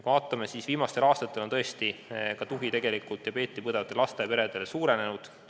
Kui vaatame, siis näeme, et viimastel aastatel on diabeeti põdevate laste peredele pakutav tugi suurenenud.